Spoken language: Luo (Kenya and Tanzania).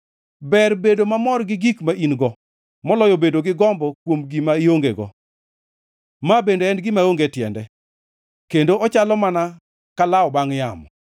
Ber bedo mamor gi gik ma in-go moloyo bedo gi gombo kuom gima iongego. Ma bende en gima onge tiende kendo ochalo mana kalawo bangʼ yamo.